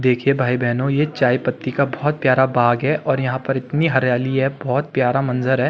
देखिये भाई-बहनो ये चायपत्ती का बहुत प्यारा बाग़ है और यहाँ पे इतनी हरियाली है बहुत प्यारा मंजर है।